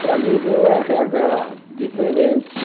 Para mim, veio érre agá diferente.